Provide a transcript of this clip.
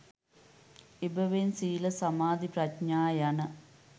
එබැවින් සීල සමාධි ප්‍රඥා යන